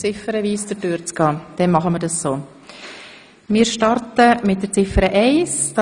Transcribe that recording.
Wir starten mit Ziffer eins der Motion.